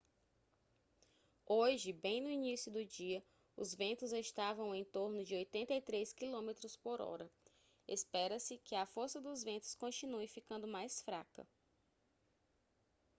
hoje bem no início do dia os ventos estavam em torno de 83 quilômetros por hora espera-se que a força dos ventos continue ficando mais fraca